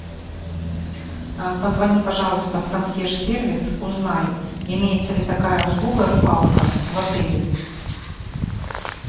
позвони пожалуйста в консьерж сервис узнай имеется ли такая услуга рыбалка в отеле